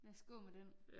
Lad os gå med den